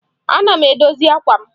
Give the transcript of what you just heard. Ana m edozi àkwà m.